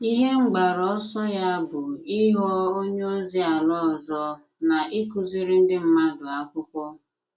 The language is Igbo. Ihe mgbaru ọsọ ya bụ ịghọ onye ozi ala ọzọ na ịkụziri ndị mmadụ akwụkwo